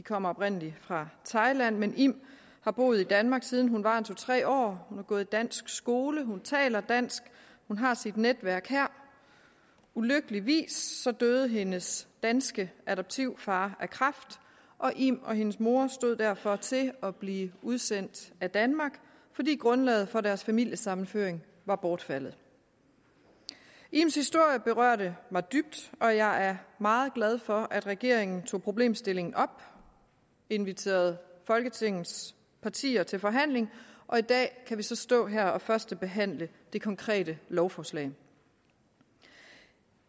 kom oprindelig fra thailand men im har boet i danmark siden hun var to tre år hun har gået i dansk skole hun taler dansk hun har sit netværk her ulykkeligvis døde hendes danske adoptivfar af kræft og im og hendes mor stod derfor til at blive udsendt af danmark fordi grundlaget for deres familiesammenføring var bortfaldet ims historie berørte mig dybt og jeg er meget glad for at regeringen tog problemstillingen op inviterede folketingets partier til forhandling og i dag kan vi så stå her og førstebehandle det konkrete lovforslag